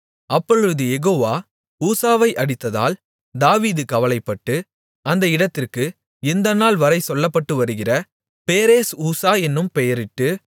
அப்பொழுது யெகோவா ஊசாவை அடித்ததால் தாவீது கவலைப்பட்டு அந்த இடத்திற்கு இந்த நாள்வரை சொல்லப்பட்டவருகிற பேரேஸ் ஊசா என்னும் பெயரிட்டு